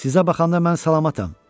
Sizə baxanda mən salamatam.